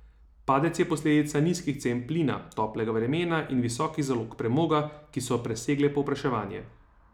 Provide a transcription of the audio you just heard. Padec je posledica nizkih cen plina, toplega vremena in visokih zalog premoga, ki so presegle povpraševanje.